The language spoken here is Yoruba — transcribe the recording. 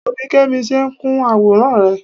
Wo bí Kẹ́mi ṣe ń kun àwòrán rẹ